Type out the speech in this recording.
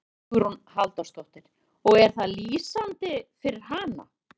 Hugrún Halldórsdóttir: Og er það lýsandi fyrir hana?